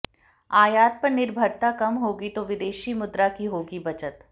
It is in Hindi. आयात पर निर्भरता कम होगी तो विदेशी मुद्रा की होगी बचत